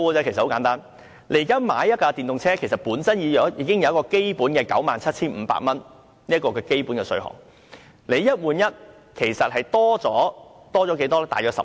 現時購買一輛電動車，車主本身已經享有 97,500 元的基本稅款優惠，"一換一"其實增加了多少呢？